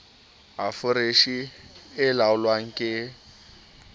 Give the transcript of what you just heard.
a foreshe e laolwang ke